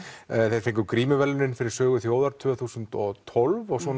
þeir fengu grímuverðlaunin fyrir Sögu þjóðar árið tvö þúsund og tólf svo